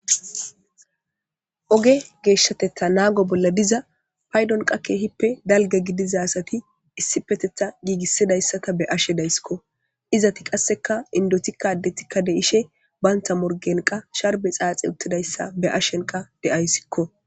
oge geeshshatettha naago bolla diza paydonqa keehippe dalge gidizasati issi petetha giigissidayssata be ashedayssikko izati qasseka indotikka addetikka de ishe baynta morgen qa sharbe xaaxe uttidayssa be ashenqa deayssikko